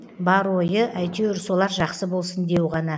бар ойы әйтеуір солар жақсы болсын деу ғана